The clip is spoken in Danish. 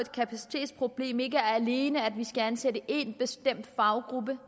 kapacitetsproblem ikke alene er at vi skal ansætte en bestemt faggruppe